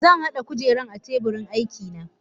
Zanhada kujeran akan teburin aikina.